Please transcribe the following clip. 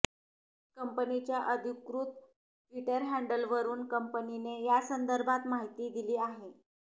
कंपनीच्या अधिकृत ट्विटर हँडलवरून कंपनीने यासंदर्भात माहिती दिली आहे